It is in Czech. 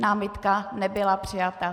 Námitka nebyla přijata.